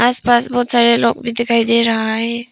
आसपास बहुत सारे लोग भी दिखाई दे रहा है।